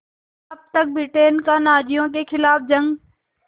तब तक ब्रिटेन का नाज़ियों के ख़िलाफ़ जंग